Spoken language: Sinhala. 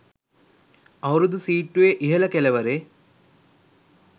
අවුරුදු සීට්ටුවේ ඉහළ කෙළවරේ